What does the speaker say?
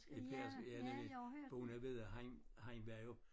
I Per ja nemlig bonde vedde han han var jo